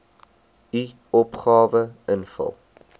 u opgawe invul